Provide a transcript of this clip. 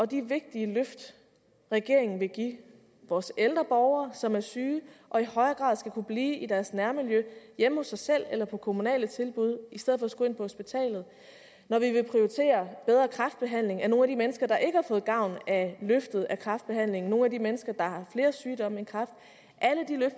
de vigtige løft regeringen vil give vores ældre borgere som er syge og i højere grad skal kunne blive i deres nærmiljø hjemme hos sig selv eller på kommunale tilbud i stedet for skulle ind på hospitalet når vi vil prioritere bedre kræftbehandling af nogle af de mennesker der ikke har fået gavn af løftet i kræftbehandlingen nogle af de mennesker der har flere sygdomme